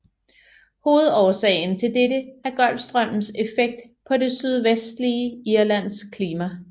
Hovedårsagen til dette er Golfstrømmens effekt på det sydvestlige Irlands klima